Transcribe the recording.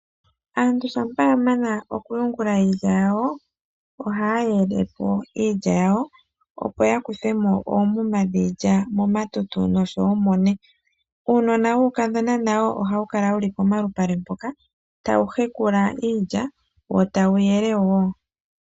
Aantu shampa ya mana okuyungula iilya yawo, ohaa yele po iilya yawo, opo ya kuthe mo oomuma dhiilya momatutu noshowo mone. Uunona wuukadhona nawo ohawu kala wu li pomalupale mpoka tawu hekula iilya wo tawu yele woo.